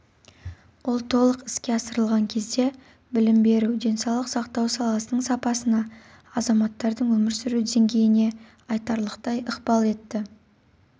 ол толық іске асырылған кезде білім беру денсаулық сақтау саласының сапасына азаматтардың өмір сүру деңгейіне айтарлықтай ықпал ететін